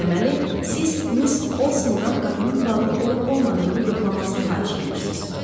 Deməli, siz Miss Olsondan qapının bağlı olub-olmadığını yoxlamasını xahiş eləyirsiz.